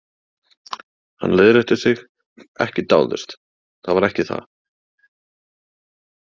Hann leiðrétti sig: ekki dáðust, það var ekki það.